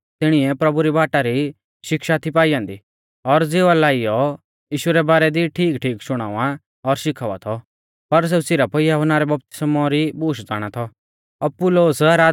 तिणीऐ प्रभु री बाटा री शिक्षा थी पाई ऐन्दी और ज़िवा लाइयौ यीशु रै बारै दी ठीकठीक शुणावा और शिखावा थौ पर सेऊ सिरफ यहुन्ना रै बपतिस्मौ री बूश ज़ाणा थौ